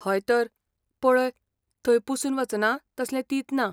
हयतर. पळय, थंय पुसून वचना तसलें तींत ना.